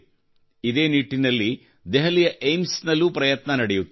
ಇದೇ ನಿಟ್ಟಿನಲ್ಲಿ ದೆಹಲಿಯ ಏಮ್ಸ್ ನಲ್ಲೂ ಪ್ರಯತ್ನ ನಡೆಯುತ್ತಿದೆ